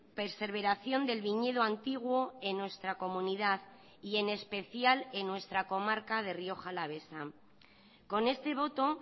perseveración del viñedo antiguo en nuestra comunidad y en especial en nuestra comarca de rioja alavesa con este voto